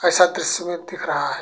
ऐसा दृश्य में दिख रहा है।